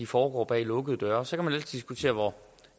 foregår bag lukkede døre og så kan man altid diskutere